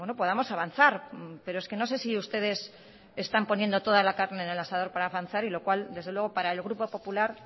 podamos avanzar pero es que no sé si ustedes están poniendo toda la carne en el asador para avanzar y lo cual desde luego para el grupo popular